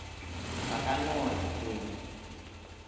ba ka no re ke